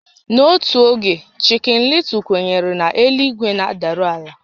N'otu oge, chikin Lịtụl kwenyere na elu-ígwé na-adaru àlà